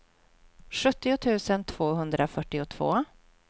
sjuttio tusen tvåhundrafyrtiotvå